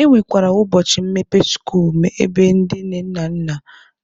E nwekwara ụbọchị mmepe skuulu ebe ndị nne na nna